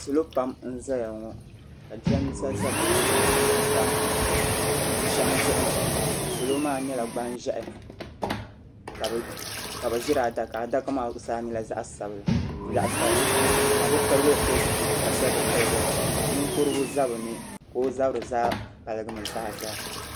Salo pam n zaya ŋɔ ka jiranbesa za bi luɣili din tam bu shɛm zuɣuni salo maa yɛla gban zɛhi ka bi zi ri adaka adaka maa zuɣu saa yɛla zaɣi sabinli bi pirigili pili zipili ti ka shɛb bi pili ninkurigu za bini ka o zabiri zaa paligi mi zaa zaa